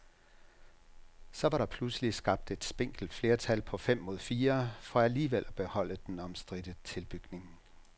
Så var der pludselig skabt et spinkelt flertal på fem mod fire for alligevel at beholde den omstridte tilbygning.